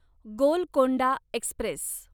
Golconda Express